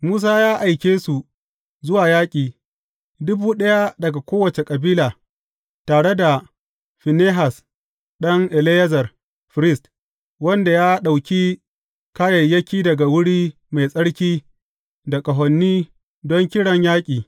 Musa ya aike su zuwa yaƙi, dubu ɗaya daga kowace kabila, tare da Finehas ɗan Eleyazar, firist, wanda ya ɗauki kayayyaki daga wuri mai tsarki da ƙahoni don kiran yaƙi.